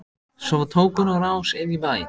Svo tók hún á rás inn í bæ.